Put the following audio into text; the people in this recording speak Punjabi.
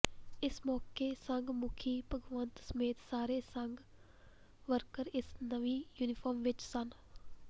ਇਸ ਮੌਕੇ ਸੰਘ ਮੁਖੀ ਭਾਗਵਤ ਸਮੇਤ ਸਾਰੇ ਸੰਘ ਵਰਕਰ ਇਸ ਨਵੀਂ ਯੂਨੀਫਾਰਮ ਵਿਚ ਸਨ